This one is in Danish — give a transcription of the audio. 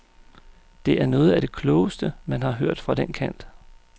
Det er noget af det klogeste, man har hørt fra den kant.